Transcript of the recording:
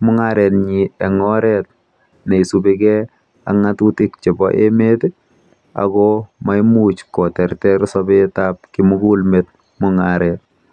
mung'aretnyi eng' oret ne isupi ak ng'atutik chepo emet i, ako maimuch koterter sapet ap kimugulmet mung'aret.